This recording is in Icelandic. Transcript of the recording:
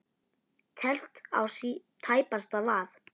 Teflt á tæpasta vað.